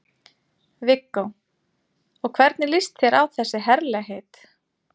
Viggó: Og hvernig líst þér á þessi herlegheit?